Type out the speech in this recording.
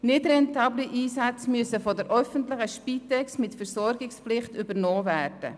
Nicht rentable Einsätze müssen von der öffentlichen Spitex mit Versorgungspflicht übernommen werden.